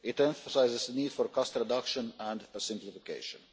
It emphasises the need for cost reduction and a simplification.